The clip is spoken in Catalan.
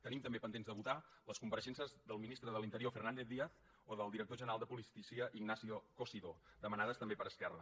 tenim també pendents de votar les compareixences del ministre de l’interior fernández díaz o del director general de policia ignacio cosidó demanades també per esquerra